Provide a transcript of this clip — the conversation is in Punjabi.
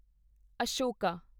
ਅਸ਼ੋਕਾ